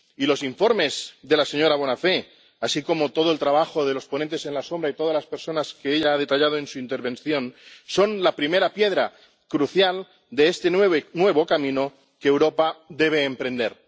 Y los informes de la señora Bonafè, así como todo el trabajo de los ponentes alternativos y de todas las personas que ella ha detallado en su intervención, son la primera piedra, crucial, de este nuevo camino que Europa debe emprender.